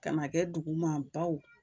Kana duguman